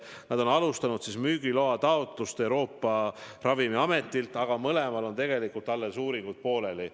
Nad on alustanud müügiloa taotlust Euroopa Ravimiametilt, aga mõlemal on tegelikult alles uuringud pooleli.